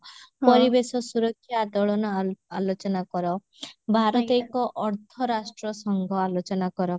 ପରିବେଶ ସୁରକ୍ଷା ଆଦୋଳନ ଆ ଆଲୋଚନା କର ଭାରତ ଏକ ଅର୍ଥରାଷ୍ଟ୍ର ସଂଘ ଆଲୋଚନା କର